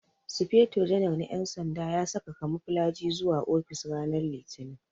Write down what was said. Sufeto janar na ƴan sanda ya saka kamuflaji zuwa ofis ranan litinin